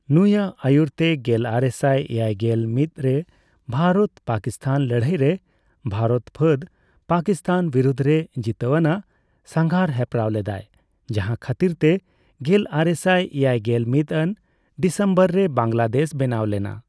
ᱱᱩᱭᱟᱜ ᱟᱭᱩᱨᱛᱮ ᱜᱮᱞᱟᱨᱮᱥᱟᱭ ᱮᱭᱟᱭᱜᱮᱞ ᱢᱤᱛ ᱨᱮ ᱵᱷᱟᱨᱚᱛᱼᱯᱟᱠᱤᱥᱛᱷᱟᱱ ᱞᱟᱹᱲᱦᱟᱭ ᱨᱮ ᱵᱷᱟᱨᱚᱛ ᱯᱷᱟᱫ ᱯᱟᱠᱤᱥᱛᱷᱟᱱ ᱵᱤᱨᱩᱫᱷ ᱨᱮ ᱡᱤᱛᱟᱹᱣ ᱟᱱᱟᱜ ᱥᱟᱜᱟᱨ ᱦᱮᱯᱨᱟᱣ ᱞᱮᱫᱟᱭ, ᱡᱟᱦᱟ ᱠᱷᱟᱛᱤᱨ ᱛᱮ ᱜᱮᱞᱟᱨᱮᱥᱟᱭ ᱮᱭᱟᱭᱜᱮᱞ ᱢᱤᱛ ᱟᱱ ᱰᱤᱥᱚᱱᱵᱚᱨ ᱨᱮ ᱵᱟᱝᱞᱟᱫᱮᱥ ᱵᱮᱱᱟᱣ ᱞᱮᱱᱟ ᱾